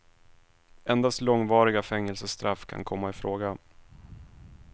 Endast långvariga fängelsestraff kan komma i fråga.